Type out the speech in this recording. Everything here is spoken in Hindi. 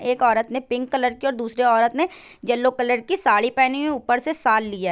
एक औरत ने पिंक कलर की और दूसरी औरत ने येल्लो कलर की साड़ी पेहनी हुई ऊपर से शाल लिया--